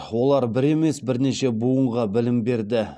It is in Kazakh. олар бір емес бірнеше буынға білім берді